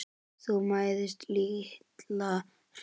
Þú mæðist litla hríð.